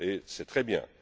C'est très bien!